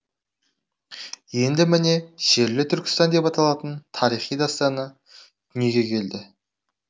енді міне шерлі түркістан деп аталатын тарихи дастаны дүниеге келді